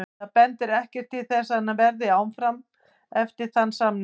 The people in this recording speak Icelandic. Það bendir ekkert til þess að hann verði áfram eftir þann samning.